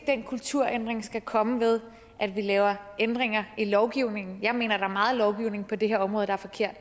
at den kulturændring skal komme ved at vi laver ændringer i lovgivningen jeg mener der er meget lovgivning på det her område der er forkert